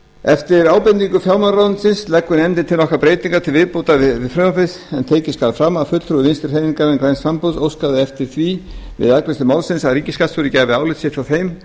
eftir ábendingu fjármálaráðuneytisins leggur nefndin til nokkrar breytingar til viðbótar við frumvarpið en tekið skal fram að fulltrúi vinstri hreyfingarinnar græns framboðs óskaði eftir því við afgreiðslu málsins að ríkisskattstjóri gæfi álit sitt á þeim